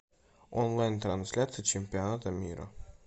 онлайн трансляция чемпионата мира